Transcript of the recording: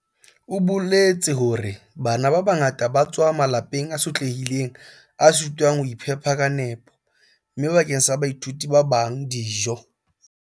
O boletse hore "Bana ba bangata ba tswa malapeng a sotlehileng a sitwang ho iphepa ka nepo, mme bakeng sa baithuti ba bang, dijo"